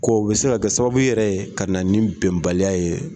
Ko bɛ se ka kɛ sababu yɛrɛ ye ka na ni bɛnbaliya ye.